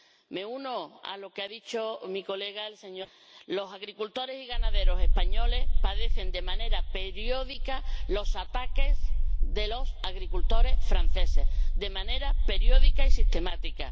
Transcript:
Me uno a lo que ha dicho mi colega el señor Sebastià los agricultores y ganaderos españoles padecen de manera periódica los ataques de los agricultores franceses, de manera periódica y sistemática.